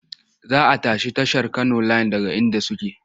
Za a tashi tashar Kano layin daga inda suke.